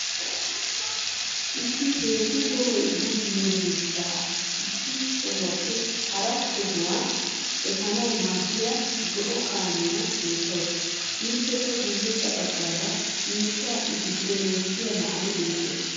Issi heezzuu toho bululiyaa miishshaa issi sohuwaappe hara sohuwaa efaanawu maadiya zo7oo kaammiyaa beettawusu ippeka guyeesa baaggara miishshaa i gidon wotiya naa7ay beettees